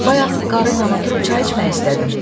Bayaq qarı ilə oturub çay içmək istədim.